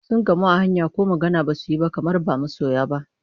Sun gamu a hanya ko magana ba su yi ba kamar ba masoya ba.